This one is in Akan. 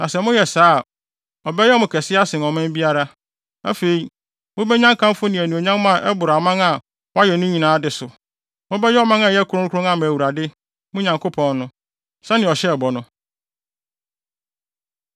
Na sɛ moyɛ saa a, ɔbɛyɛ mo kɛse asen ɔman biara. Afei, mubenya nkamfo ne anuonyam a ɛboro aman a wayɛ no nyinaa de so. Mobɛyɛ ɔman a ɛyɛ kronkron ama Awurade, mo Nyankopɔn no, sɛnea ɔhyɛɛ bɔ no.